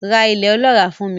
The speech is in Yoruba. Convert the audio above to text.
Ra ilẹ̀ ọlọ́ràá fún mi.